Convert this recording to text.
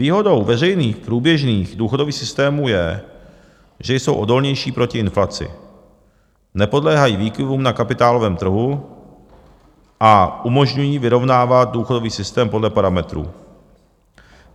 Výhodou veřejných průběžných důchodových systémů je, že jsou odolnější proti inflaci, nepodléhají výkyvům na kapitálovém trhu a umožňují vyrovnávat důchodový systém podle parametrů.